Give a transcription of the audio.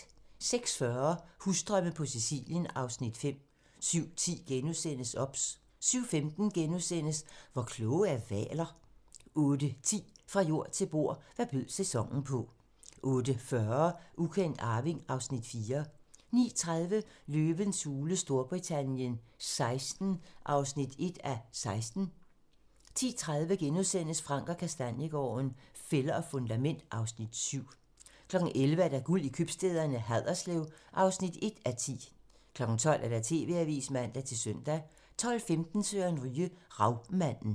06:40: Husdrømme på Sicilien (Afs. 5) 07:10: OBS * 07:15: Hvor kloge er hvaler? * 08:10: Fra jord til bord: Hvad bød sæsonen på 08:40: Ukendt arving (Afs. 4) 09:30: Løvens hule Storbritannien XVI (1:16) 10:30: Frank & Kastaniegaarden - Fælder og fundament (Afs. 7)* 11:00: Guld i købstæderne: Haderslev (1:10) 12:00: TV-avisen (man-søn) 12:10: Søren Ryge: Ravmanden